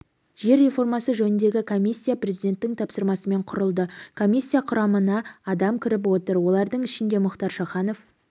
жер реформасы жөніндегі комиссия президенттің тапсырмасымен құрылды комиссия құрамына адам кіріп отыр олардың ішінде мұхтар шаханов